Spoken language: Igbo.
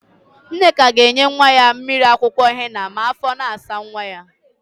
Nneka ga-enye nwa ya mmiri akwụkwọ hena ma áfọ̀ na-asa nwa ya.